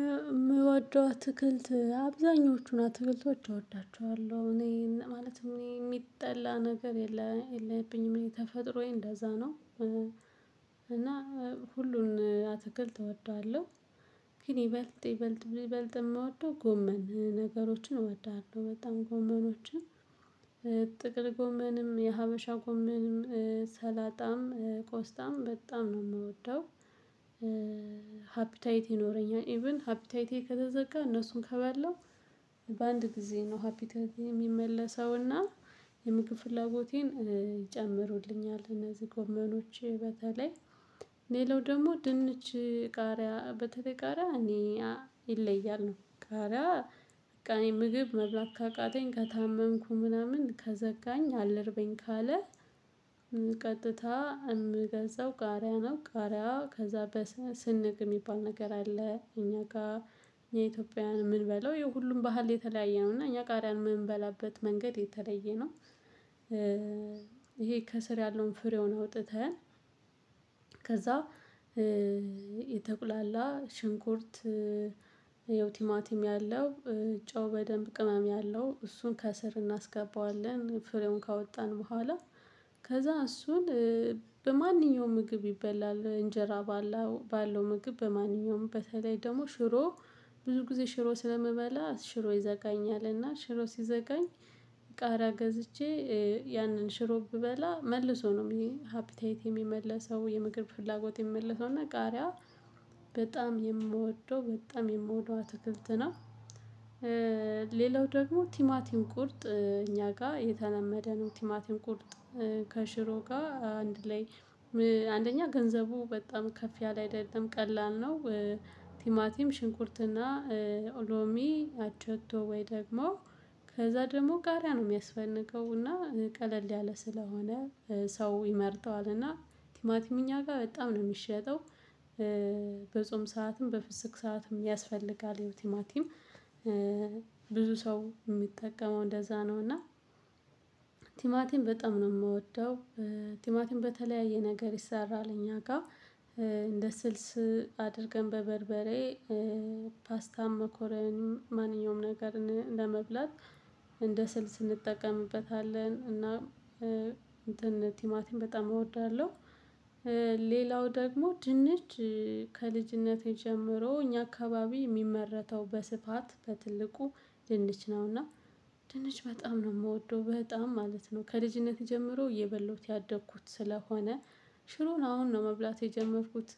የምወደው አትክልት አብዛኞቹን አትክልቶች እወዳቸዋለሁ እኔ ማለትም እኔ የሚጠላ ነገር የለም የለብኝም በተፈጥሮዬ እንደዛ ነው እና ሁሉን አትክልት እወደዋለሁ። ግን ይበልጥ ይበልጥ የምወደው ጎመን ነገሮችን እወዳለሁ በጣም ጎመኖችን ጥቅል ጎመንም የሀበሻ ጎመንም ሰላጣም ቆስጣም በጣም ነው የምወደው። ሃፒታይት ይኖረኛል ኢቭን ሃፒ ታይቴ ከተዘጋ እነሱን ከበላው በአንድ ጊዜ ነው ሃፒ ታይቴ የሚመለሰውና የምግብ ፍላጎቴን ይጨምሩልኛል። እነዚህ ጎመኖች በተለይ። ሌላው ደግሞ ድንች ቃሪያ በተለይ ቃሪያ። ይለያል ነው ቃሪያ በቃ እኔ ምግብ መብላት ካቃተኝ ከታመምኩ ምናምን ከዘጋኝ አልርበኝ ካለ። ቀጥታ የምገዛው ቃሪያ ነው። ቃሪያ ከዛ በስንግ የሚባል ነገር አለ እኛ ጋር የኢትዮጵያን የምንበላው የሁሉም ባህል የተለያየ ነው እና እኛ ቃሪያን የምንበላበት መንገድ የተለየ ነው። ይሄ ከስር ያለውን ፍሬውን አውጥተን ከዛ የተቁላላ ሽንኩርት ያው ቲማቲም ያለው ጨው በደንብ ቅመም ያለው እሱን ከስር እናስገባዋለን ፍሬውን ካወጣን በኋላ። ከዛ እሱን በማንኛውም ምግብ ይበላል እንጀራ ባለው ባለው ምግብ በማንኛውም በተለይ ደግሞ ሽሮ ብዙ ጊዜ ሽሮ ስለምበላ ሽሮ ይዘጋኛልና ሽሮ ሲዘጋኝ ቃሪያ ገዝቼ ያንን ሽሮ ብበላ መልሶ ነው ይሄ ሃፒታይቴ የሚመለሰው የምግብ ፍላጎቴ የሚመለሰው እና ቃሪያ በጣም የምወደው በጣም የምወደው አትክልት ነው። ሌላው ደግሞ ቲማቲም ቁርጥ እኛ ጋር የተለመደ ነው ቲማቲም ቁርጥ ከሽሮ ጋር አንድ ላይ አንደኛ ገንዘቡ በጣም ከፍ ያለ አይደለም ቀላል ነው። ቲማቲም ሽንኩርትና ሎሚ አቸቶ ወይ ደግሞ ከዛ ደግሞ ቃሪያ ነው የሚያስፈልገው እና ቀለል ያለ ስለሆነ። ሰው ይመርጠዋል እና ቲማቲም እኛ ጋር በጣም ነው የሚሸጠው። በጾም ሰዓትም በፍስክ ሰዓትም ያስፈልጋል ቲማቲም። ብዙ ሰው የሚጠቀመው እንደዛ ነው እና ቲማቲም በጣም ነው የምወደው። ቲማቲም በተለያየ ነገር ይሰራል እኛ ጋር እንደ ስልስ አድርገን በበርበሬ ፓስታም መኮረኒም ማንኛውም ነገር ለመብላት እንደ ስልስ ስንጠቀምበታለን እና እንትን ቲማቲን በጣም እወዳለሁ። ሌላው ደግሞ ድንች ከልጅነቴ ጀምሮ እኛ አካባቢ የሚመረተው በስፋት በትልቁ ድንች ነውና። ድንች በጣም ነው የምወደው በጣም ማለት ነው ከልጅነቴ ጀምሮ እየበላውት ያደኩት ስለሆነ። ሽሮን አሁን ነው መብላት የጀመርኩት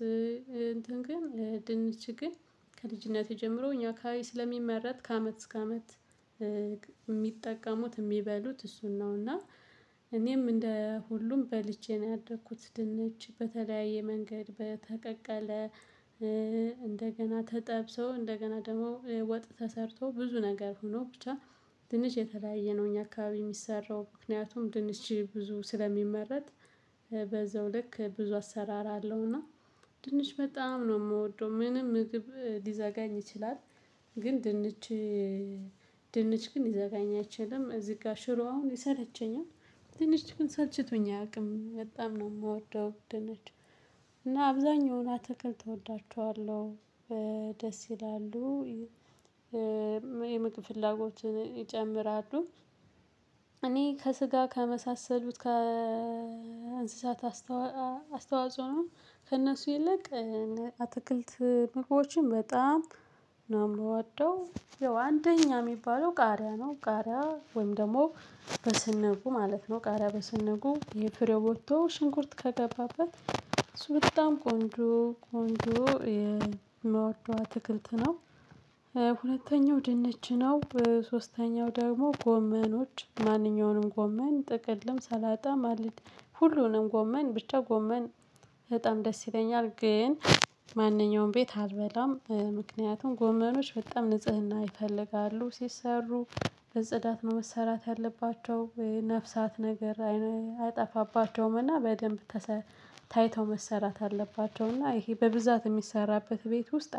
እንትን ግን ድንች ግን ከልጅነቴ ጀምሮ እኛ አከባቢ ስለሚመረት ከአመት እስከ አመት የሚጠቀሙት የሚበሉት እሱን ነውና። እኔም እንደ ሁሉም በልቼ ነው ያደኩት ድንች በተለያየ መንገድ በተቀቀለ እንደገና ተጠብሶ እንደገና ደግሞ ወጥ ተሰርቶ ብዙ ነገር ሆኖ ብቻ። ድንች የተለያየ ነው እኛ አካባቢ የሚሰራው ምክንያቱም ድንች ብዙ ስለሚመረት በዛው ልክ ብዙ አሰራር አለውና። ድንች በጣም ነው የምወደው ምንም ምግብ ሊዘጋኝ ይችላል። ግን ድንች ድንች ግን ሊዘጋኝ አይችልም እዚህ ጋር ሽሮ አሁን ይሰለቸኛል። ድንች ግን ሰልችቶኝ አያውቅም በጣም ነው የምወደው ድንች። እና አብዛኛውን አትክልት እወዳቸዋለሁ። ደስ ይላሉ የምግብ ፍላጎትን ይጨምራሉ። እኔ ከስጋ ከመሳሰሉት ከእንስሳት አስተዋጽኦ ከእነሱ ይልቅ አትክልት ምግቦችን በጣም ነው የምወደው። ያው አንደኛ የሚባለው ቃሪያ ነው ቃሪያ ወይም ደግሞ በስንጉ ማለት ነው ቃሪያ በስንጉ ፍሬው ወጥቶ ሽንኩርት ከገባበት እሱ በጣም ቆንጆ ቆንጆ የምወደው አትክልት ነው። ሁለተኛው ድንች ነው ሶስተኛው ደግሞ ጎመኖች ማንኛውንም ጎመን ጥቅልም ሰላጣም ሁሉንም ጎመን ብቻ ጎመን በጣም ደስ ይለኛል። ግን ማንኛውም ቤት አልበላም ምክንያቱም ጎመሮች በጣም ንጽህና ይፈልጋሉ ሲሰሩ። በጽዳት ነው መሰራት ያለባቸው። ነፍሳት ነገር አይጠፋባቸውም እና በደንብ ታይተው መሰራት አለባቸው። እና ይሄ በብዛት የሚሰራበት ቤት ውስጥ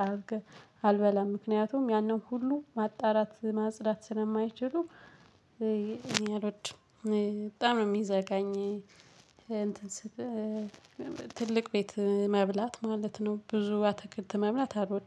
አልበላም ምክንያቱም ያንን ሁሉ ማጣራት ማጽዳት ስለማይችሉ። እኔ አልወድም በጣም ነው የሚዘጋኝ እንትን ስት ትልቅ ቤት መብላት ማለት ነው ብዙ አትክልት መብላት አልወድም